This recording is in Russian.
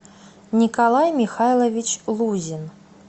николай михайлович лузин